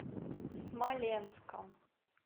смоленском